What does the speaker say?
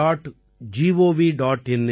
gov